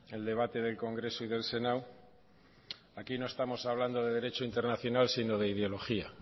el debate del congreso y del senado aquí no estamos hablando de derecho internacional sino de ideología